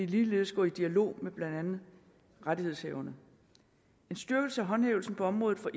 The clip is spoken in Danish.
ligeledes gå i dialog med blandt andet rettighedshaverne en styrkelse af håndhævelsen på området for